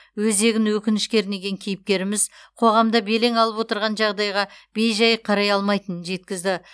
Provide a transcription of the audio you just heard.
өзегін өкініш кернеген кейіпкеріміз қоғамда белең алып отырған жағдайға бей жай қарай алмайтынын жеткізді